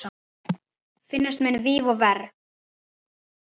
Finnast munu víf og ver.